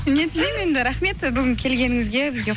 не тілеймін енді рахмет бүгін келгеніңізге бізге